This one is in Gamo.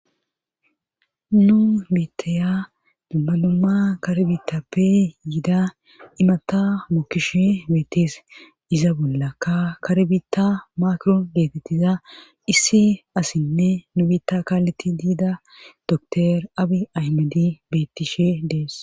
nu biittaya dumma numma karbitappe yida imata mookishe beettees iza bolla ka karbitta maakron geetettiza issi asinne nu biitta kaaleti diida dotor abi aymadi bettishe dees